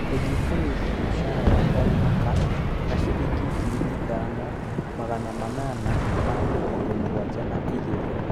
Kũnyihanyihia mũcara wa o mwaka na ciringi ngiri ithano, magana manana ma mĩrongo mũgwanja na igĩrĩ.